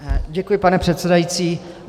Děkuji, pane předsedající.